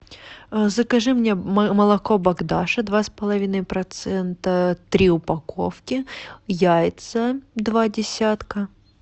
закажи мне молоко богдаша два с половиной процента три упаковки яйца два десятка